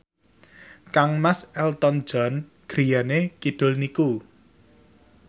kangmas Elton John griyane kidul niku